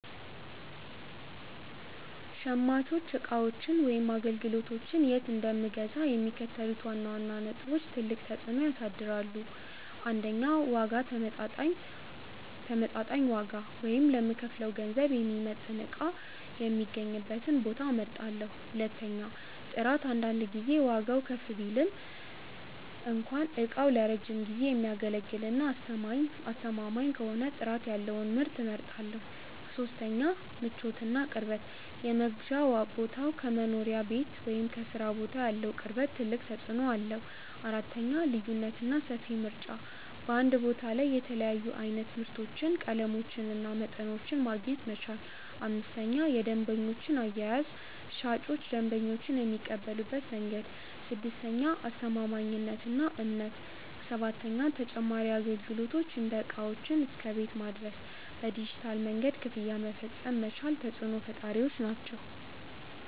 .ሸማቾች ዕቃዎችን ወይም አገልግሎቶችን የት እንደምገዛ የሚከተሉት ዋና ዋና ነጥቦች ትልቅ ተፅዕኖ ያሳድራሉ፦ 1. ዋጋ ተመጣጣኝ ዋጋ፣ ወይም ለምከፍለው ገንዘብ የሚመጥን ዕቃ የሚገኝበትን ቦታ እመርጣለሁ። 2. ጥራት አንዳንድ ጊዜ ዋጋው ከፍ ቢልም እንኳ ዕቃው ለረጅም ጊዜ የሚያገለግልና አስተማማኝ ከሆነ ጥራት ያለውን ምርት እመርጣለሁ። 3. ምቾትና ቅርበት የመግዣ ቦታው ከመኖሪያ ቤት ወይም ከሥራ ቦታ ያለው ቅርበት ትልቅ ተፅዕኖ አለው። 4. ልዩነትና ሰፊ ምርጫ በአንድ ቦታ ላይ የተለያዩ ዓይነት ምርቶችን፣ ቀለሞችንና መጠኖችን ማግኘት መቻል። 5. የደንበኞች አያያዝ ሻጮች ደንበኞችን የሚቀበሉበት መንገድ። 6. አስተማማኝነትና እምነት 7. ተጨማሪ አገልግሎቶች እንደ ዕቃዎችን እስከ ቤት ማድረስ፣ በዲጂታል መንገድ ክፍያ መፈጸም መቻል ተፅዕኖ ፈጣሪዎች ናቸው።